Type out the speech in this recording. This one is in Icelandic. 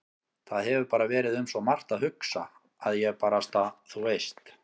Það hefur bara verið um svo margt að hugsa að ég barasta. þú veist.